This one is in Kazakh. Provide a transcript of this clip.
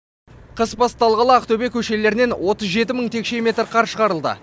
қыс басталғалы ақтөбе көшелерінен отыз жеті мың текше метр қар шығарылды